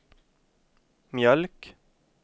mjölk